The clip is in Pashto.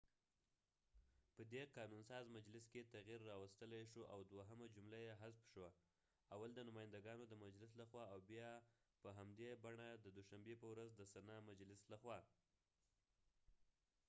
په دي قانون ساز مجلس کې تغیر راوستلی شو او دوهمه جمله یې حذف شوه اول د نماینده ګانو د مجلس له خوا او بیا په همدي بڼه د دوشنبی په ورځ د سنا مجلس له خوا نه